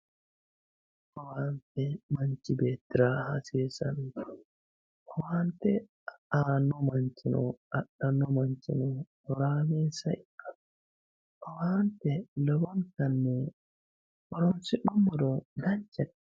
owaanye manchi beettira hasiissanno owaante aanno manchino adhanno manchino horaameessa ikkanno owaante lowontanni horonsi'numoro danchate.